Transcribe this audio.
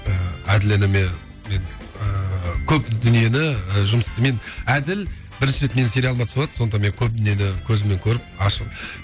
ііі әділ ініме мен ыыы көп дүниені жұмысты мен әділ бірінші рет менің сериалыма түсіватыр сондықтан көп дүниені көзіммен көріп ашып